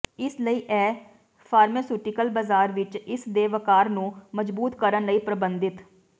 ਇਸ ਲਈ ਉਹ ਫਾਰਮਾਸਿਊਟੀਕਲ ਬਾਜ਼ਾਰ ਵਿਚ ਇਸ ਦੇ ਵੱਕਾਰ ਨੂੰ ਮਜ਼ਬੂਤ ਕਰਨ ਲਈ ਪਰਬੰਧਿਤ